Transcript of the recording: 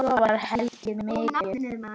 Svo var hlegið mikið.